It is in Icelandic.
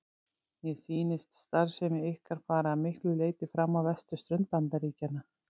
Mér sýnist starfsemi ykkar fara að miklu leyti fram á vesturströnd Bandaríkjanna.